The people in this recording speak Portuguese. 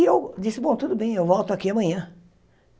E eu disse, bom, tudo bem, eu volto aqui amanhã.